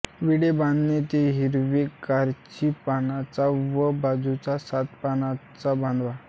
विडे बांधणे ते हिरवे खर्ची पानांचा व बाजूचा सात पानांचा बांधावा